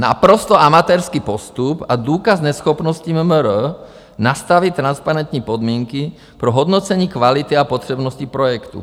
Naprosto amatérský postup a důkaz neschopnosti MMR nastavit transparentní podmínky pro hodnocení kvality a potřebnosti projektu.